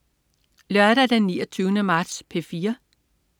Lørdag den 29. marts - P4: